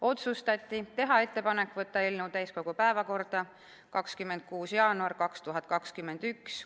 Otsustati teha ettepanek võtta eelnõu täiskogu päevakorda 26. jaanuariks 2021 .